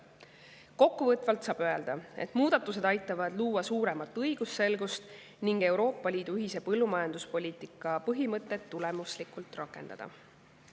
Kokkuvõtvalt saab öelda, et muudatused aitavad luua suuremat õigusselgust ning Euroopa Liidu ühise põllumajanduspoliitika põhimõtet tulemuslikult rakendada.